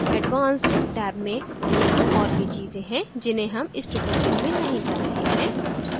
advanced tab में यहाँ और भी चीजें है जिन्हे हम इस tutorial में नहीं कर रहे हैं